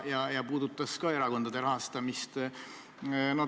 See puudutab ka erakondade rahastamist.